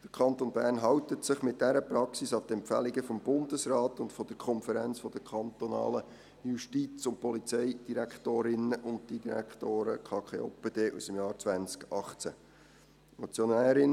Der Kanton Bern hält sich mit dieser Praxis an die Empfehlungen des Bundesrates und der Konferenz der kantonalen Justiz- und Polizeidirektorinnen und -direktoren (KKJPD) aus dem Jahr 2018.